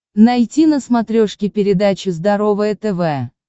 найти на смотрешке передачу здоровое тв